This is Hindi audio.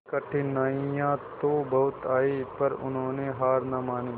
कठिनाइयां तो बहुत आई पर उन्होंने हार ना मानी